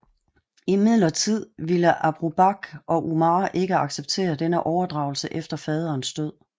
Imidlertid ville Abu Bakr og Umar ikke acceptere denne overdragelse efter faderens død